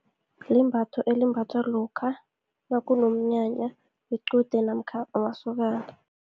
Limbatho elimbathwa lokha, nakunomnyanya wequde, namkha wamasokana.